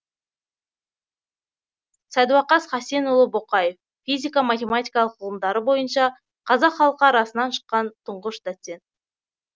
сәдуақас хасенұлы боқаев физика матемематикалық ғылымдары бойынша қазақ халқы арасынан шыққан тұңғыш доцент